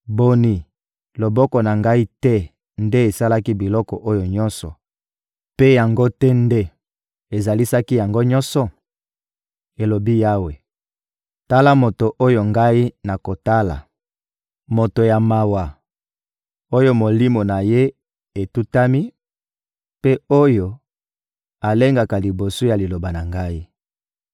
Boni, loboko na Ngai te nde esalaki biloko oyo nyonso, mpe yango te nde ezalisaki yango nyonso?» elobi Yawe. «Tala moto oyo Ngai nakotala: moto ya mawa, oyo molimo na ye etutami, mpe oyo alengaka liboso ya liloba na Ngai.